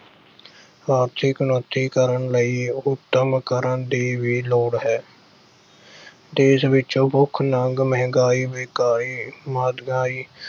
ਆਰਥਿਕ ਕ੍ਰਾਂਤੀ ਕਰਨ ਲਈ ਉ ਅਹ ਉੱਦਮ ਕਰਨ ਦੀ ਵੀ ਲੋੜ ਹੈ ਦੇਸ਼ ਵਿੱਚੋਂ ਭੁੱਖ-ਨੰਗ, ਮਹਿੰਗਾਈ